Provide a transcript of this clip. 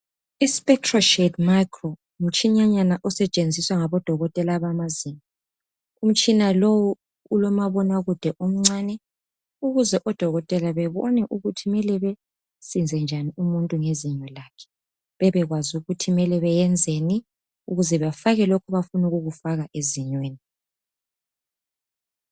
i spectoshed micro ngumtshinyanyana osetshenziswa ngabodokotela bamazinyo. Umtshina lo ulomabonakude omncane ukuze odokotela babone ukuthi kumele bemsize njani umuntu ngezinyo lakhe. Bebekwazi ukuthi kumele beyenzeni ukuze bafake lokho abafuna ukukufaka ezinyweni.